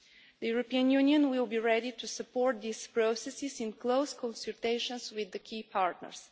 The European Union will be ready to support these processes, in close consultations with the key partners.